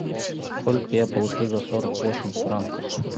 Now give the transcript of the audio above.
сколько я получу за сорок восемь франков